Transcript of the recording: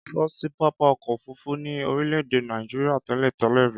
Kọ sí pápá ọkọ ofurufu ní orìle ede naìjría tẹlẹ-tẹlẹ ri